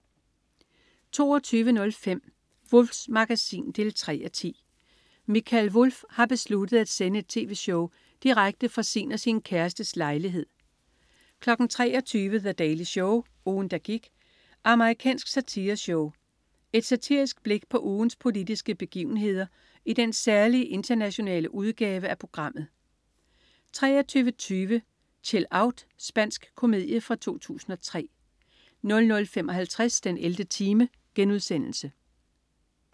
22.05 Wulffs Magasin 3:10. Mikael Wulff har besluttet at sende et tv-show direkte fra sin og sin kærestes lejlighed 23.00 The Daily Show. Ugen, der gik. Amerikansk satireshow. Et satirisk blik på ugens politiske begivenheder i den særlige internationale udgave af programmet 23.20 Chill Out! Spansk komedie fra 2003 00.55 den 11. time*